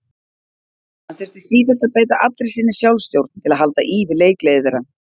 Hann þurfti sífellt að beita allri sinni sjálfstjórn til að halda í við leikgleði þeirra.